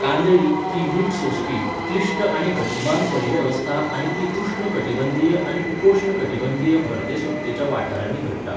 कांदळी ही मीठ सोंसपी, क्लिश्ट आनी गतिमान परिवेवस्था आनी ती उश्ण कटिबंधीय आनी उपोश्ण कटिबंधीय भरते सुकतेच्या वाठारांनी घडटा.